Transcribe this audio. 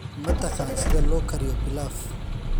Ma taqaan sida loo kariyo pilaf?